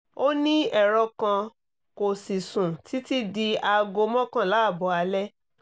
ó ní ẹ̀rọ kan kò sì sùn títí di aago mọ́kànlá ààbọ̀ alẹ́